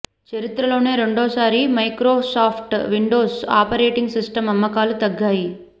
చరిత్రలోనే రెండో సారి మైక్రోసాఫ్ట్ విండోస్ ఆపరేటింగ్ సిస్టం అమ్మకాలు తగ్గాయి